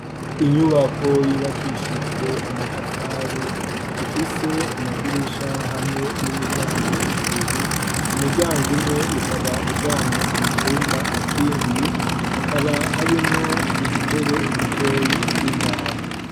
Inyubako yubakishijwe amatafari, ifise amadirisha, hamwe n'imiryango ibiri , umuryango umwe ukaba ujana mucumba kindi, hakaba harimwo udutebe dutoyi tw'imbaho.